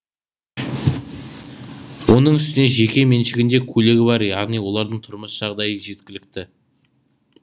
оның үстіне жеке меншігінде көлігі бар яғни олардың тұрмыс жағдайы жеткілікті